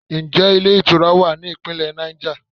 Ǹjẹ́ ilé ìtura wa ní Ìpínlẹ̀ Niger?